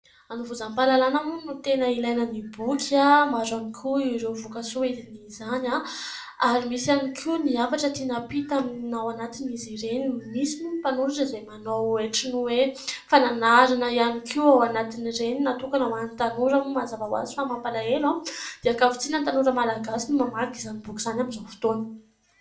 hanovozam-pahalalana moa no tena ilaina ny boky ahy maro ihany koa ireo vokatsoa idinina izany aho ary misy ihany koa ny hafatra tiana ampita amina ao anatin' izy ireny, nisy moa ny mpanoratra izay manao ohatra ny hoe fananarana ihany koa ao anatin'ireny natokana ho an'ny tanora :moa mazava ho azy fa mampalahelo dia ankavitsiana ny tanora malagasy no mamaky izany boky izany amin'izao fotoana